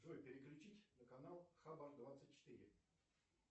джой переключить на канал хаба двадцать четыре